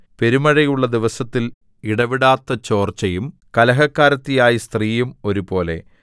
പെരുമഴയുള്ള ദിവസത്തിൽ ഇടവിടാത്ത ചോർച്ചയും കലഹക്കാരത്തിയായ സ്ത്രീയും ഒരുപോലെ